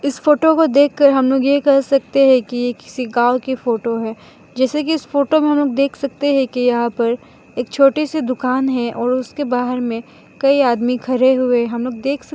इस फोटो को देखकर हम लोग ये कह सकते है कि ये किसी गांव की फोटो है जैसे कि इस फोटो में हम लोग देख सकते है कि यहां पर एक छोटी सी दुकान है और उसके बाहर में कई आदमी खड़े हुए हम लोग देख सक --